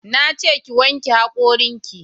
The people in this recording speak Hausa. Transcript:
Na ce ki wanke hakorin ki